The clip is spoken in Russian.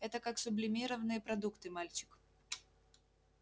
это как сублимированные продукты мальчик